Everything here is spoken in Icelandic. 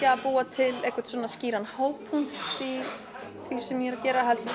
að búa til skýran hápunkt í því sem ég er að gera heldur